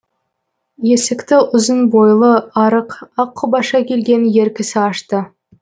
есікті ұзын бойлы арық аққұбаша келген ер кісі ашты